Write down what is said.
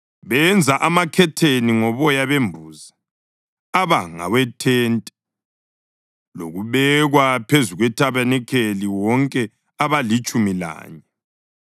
Benza amakhetheni ngoboya bembuzi aba ngawethente lokubekwa phezu kwethabanikeli, wonke abalitshumi lanye.